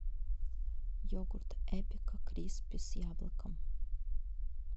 йогурт эпика криспи с яблоком